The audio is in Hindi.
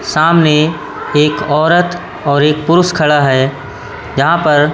सामने एक औरत और एक पुरुष खड़ा है यहां पर--